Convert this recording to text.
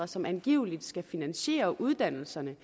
som angiveligt skal finansiere uddannelserne